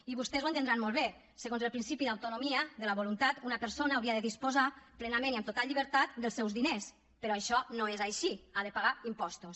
i vostès ho deuen entendre molt bé segons el principi d’autonomia de la voluntat una persona hauria de disposar plenament i amb total llibertat dels seus diners però això no és així ha de pagar impostos